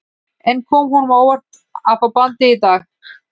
En kom honum á óvart að fá bandið í dag?